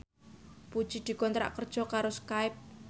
Puji dikontrak kerja karo Skype